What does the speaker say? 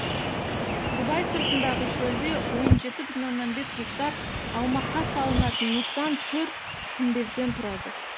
дубай сыртындағы шөлде он жеті бүтін оннан бес гектар аумаққа салынатын нысан төрт күмбезден тұрады